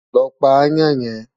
Lọ pa aáyán yẹn!